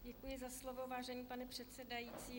Děkuji za slovo, vážený pane předsedající.